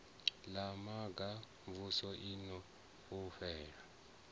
ḽa hanga xvusi o fhufhela